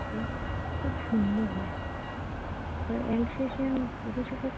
খুব সুন্দর হয় Alsassian বিদেশি কুকুরটি।